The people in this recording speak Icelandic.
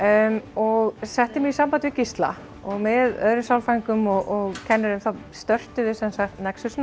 og setti mig í samband við Gísla og með öðrum sálfræðingum og kennurum þá störtum við sem sagt nexus